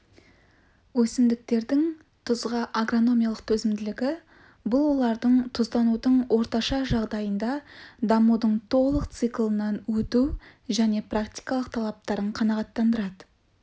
өсімдіктердің тұзға агрономиялық төзімділігі бұл олардың тұзданудың орташа жағдайында дамудың толық циклынан өту және практикалық талаптарын қанағаттандырады